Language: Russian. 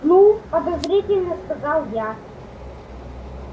ну подозрительно сказал я